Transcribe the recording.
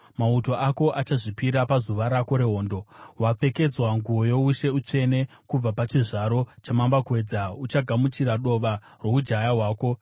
Mauto ako achazvipira pazuva rako rehondo. Wapfekedzwa nguo youshe, utsvene, kubva pachizvaro chamambakwedza uchagamuchira dova roujaya hwako.